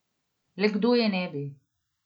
Le kdo je ne bi?